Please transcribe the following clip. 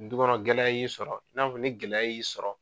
Du kɔnɔ gɛlɛya y'i sɔrɔ i n'a fɔ ni gɛlɛya y'i sɔrɔ.